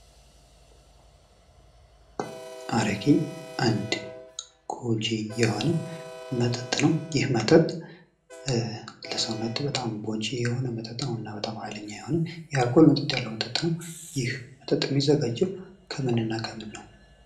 አረቄ አንድ ጎጂ የሆነ መጠጥ ነው። ይህ መጠጥ ለሰውነት በጣም ጎጂ የሆነ መጠጥ ነው እና በጣም ሀይለኛ የሆነ የአልኮል መጠን ያለው መጠጥ ነው። የሚዘጋጀው ከምን እና ከምን ነው?